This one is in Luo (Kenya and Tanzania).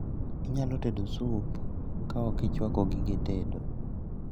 Inyalo tedo sup kaokichwako gige tedo?